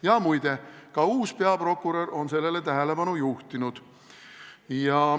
Ja muide, ka uus peaprokurör on sellele tähelepanu juhtinud.